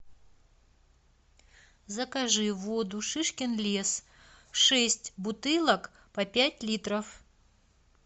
закажи воду шишкин лес шесть бутылок по пять литров